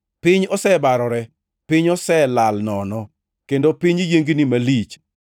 Piny osebarore, piny oselal nono, kendo piny yiengni malich.